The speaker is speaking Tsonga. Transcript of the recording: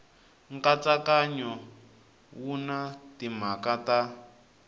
nkatsakanyo wu na timhaka ta